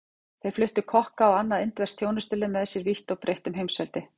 Þeir fluttu kokka og annað indverskt þjónustulið með sér vítt og breitt um heimsveldið.